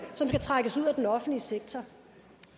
som skal trækkes ud af den offentlige sektor